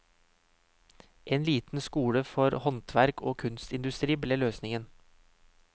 En liten skole for håndverk og kunstindustri ble løsningen.